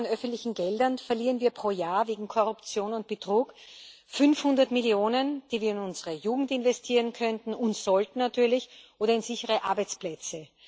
EUR an öffentlichen Geldern verlieren wir pro Jahr wegen Korruption und Betrug. 500 Millionen, die wir in unsere Jugend investieren könnten und sollten natürlich oder in sichere Arbeitsplätze.